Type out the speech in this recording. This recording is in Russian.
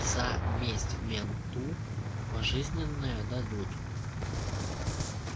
за месть менту пожизненное дадут